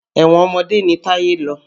Ẹ̀wọ̀n ọmọdé ni Táyé lọ.